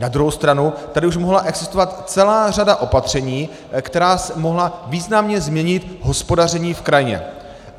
Na druhou stranu tady už mohla existovat celá řada opatření, která mohla významně změnit hospodaření v krajině.